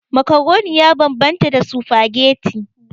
Macaroni ya bambanta da spaghetti.